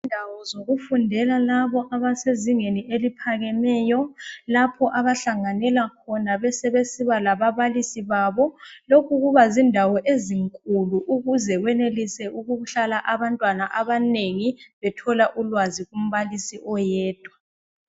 Indawo zokufundela labo abasezingeni eliphakemeyo lapho abahlanganela khona besebesiba lababalisi babo lokhu kubazindawo ezinkulu ukuze wenelise ukuhlala abantwana abanengi bethola ulwazi kumbalisi oyedwa.